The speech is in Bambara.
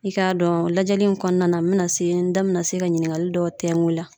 I ka dɔn lajɛli in kɔnɔna na, n be na se , n da be na se ka ɲininkali dɔw tɛngu i la.